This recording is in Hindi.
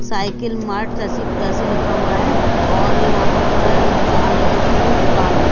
साइकिल मार्च ऐसी ऐसे लिखा हुआ है और यहां पर जो है अंदर की तरफ एक दुकान है।